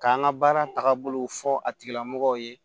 K'an ka baara tagabolo fɔ a tigilamɔgɔw ye